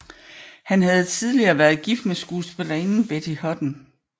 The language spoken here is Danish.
Han havde tidligere været gift med skuespillerinden Betty Hutton